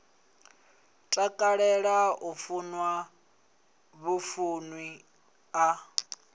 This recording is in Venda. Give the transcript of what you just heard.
takalela u fuwa vhufuwi a